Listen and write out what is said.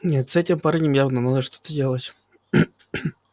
нет с этим парнем явно надо что-то делать